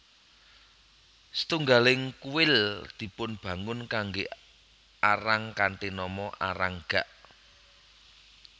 Setunggaling kuil dipunbangun kanggé Arang kanthi nama Arang gak